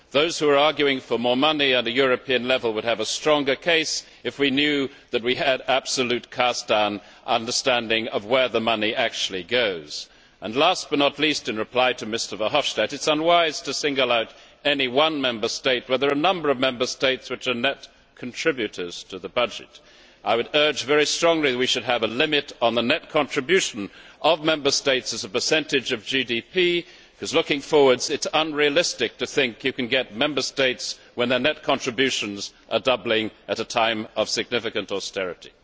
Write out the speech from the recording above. Those who are arguing for more money at a European level would have a stronger case if we knew that we had an absolute cast iron understanding of where the money actually goes. Last but not least, in reply to Mr Verhofstadt, it is unwise to single out any one Member State when there are a number of Member States which are net contributors to the budget. I would urge very strongly that we should have a limit on the net contribution of Member States as a percentage of GDP because, looking forward, it is unrealistic to think you can get Member States' approval when their net contributions are doubling at a time of significant austerity.